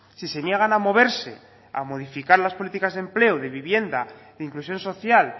si se niegan a moverse a modificar las políticas de empleo de vivienda de inclusión social